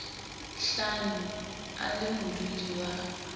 hlano a le modudi wa